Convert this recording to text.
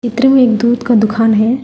चित्र में एक दूध का दुकान है।